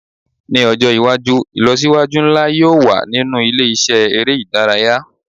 Ni ọjọ iwaju ilọsiwaju nla yoo wa ninu ile-iṣẹ ere idaraya